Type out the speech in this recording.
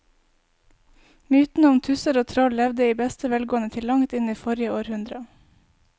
Mytene om tusser og troll levde i beste velgående til langt inn i forrige århundre.